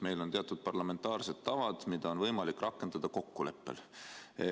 Meil on teatud parlamentaarsed tavad, mida on võimalik rakendada kokkuleppel.